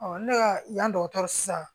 ne ka yan dɔgɔtɔrɔ sisan